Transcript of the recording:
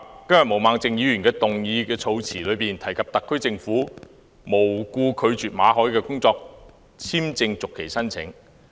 今天毛孟靜議員的議案措辭中提及特區政府"無故拒絕"馬凱的工作簽證續期申請。